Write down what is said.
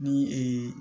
Ni ee